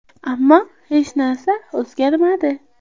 Ammo hech narsa o‘zgarmadi.